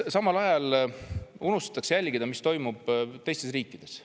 Samal ajal unustatakse jälgida, mis toimub teistes riikides.